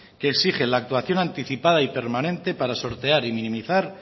que exige la actuación anticipada y permanente para sortear y minimizar